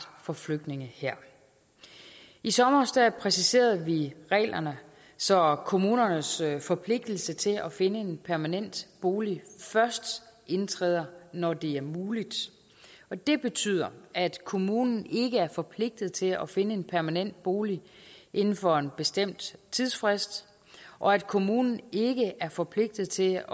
for flygtninge her i sommer præciserede vi reglerne så kommunernes forpligtelse til at finde en permanent bolig først indtræder når det er muligt og det betyder at kommunen ikke er forpligtet til at finde en permanent bolig inden for en bestemt tidsfrist og at kommunen ikke er forpligtet til